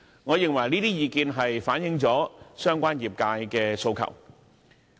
我認為這些意見均反映了相關業界的訴求。